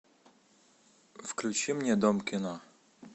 включи мне дом кино